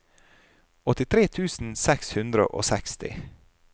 åttitre tusen seks hundre og seksti